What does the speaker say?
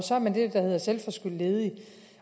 så er man det der hedder selvforskyldt ledig